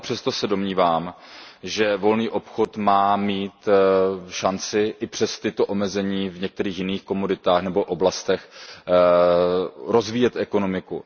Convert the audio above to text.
Ale i přesto se domnívám, že volný obchod má mít šanci i přes tato omezení v některých jiných komoditách nebo oblastech rozvíjet ekonomiku.